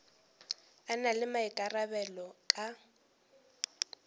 a na le maikarabelo ka